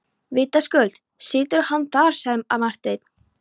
Vitaskuld situr hann þar, sagði Marteinn.